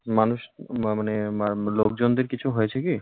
প্রথম ব্যক্তি- মানুষ মা মানে লোকজনদের কিছু হয়েছে কী?